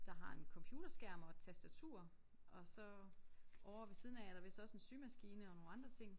Der har en computerskærm og et tastatur og så ovre ved siden af er der vist også en symaskine og nogle andre ting